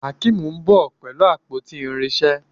Akeem nbọ pẹlú àpótí irinṣẹ́